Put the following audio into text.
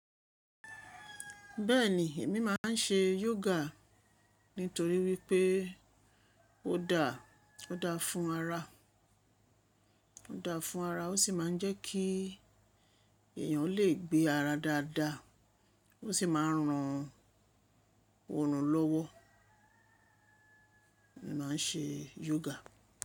Bẹ́ẹ̀ni, èmi máa ń ṣe yoga nítorí wípé ó dára fún ara, ó sì máa ń jẹ́ kí èèyàn lè gbé ara dáadáa, ó sì máa ń ran ọrun lọ́wọ́. Èmi máa ń ṣe yoga.